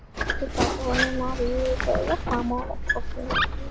Matur getur ekki sparað.